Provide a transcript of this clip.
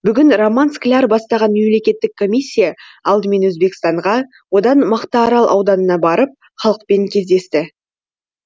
бүгін роман скляр бастаған мемлекеттік комиссия алдымен өзбекстанға одан мақтаарал ауданына барып халықпен кездесті